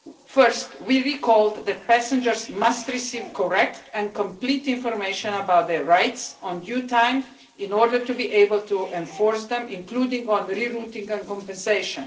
Firstly, we recalled that the passengers must receive correct and complete information about their rights in due time in order to be able to enforce them, including on re routing and compensation.